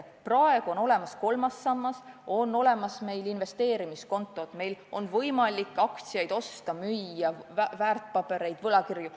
Praegu on olemas kolmas sammas, on olemas investeerimiskontod, on võimalik väärtpabereid, näiteks aktsiaid ja võlakirju osta-müüa.